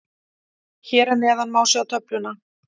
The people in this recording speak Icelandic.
Hér að neðan má sjá töfluna.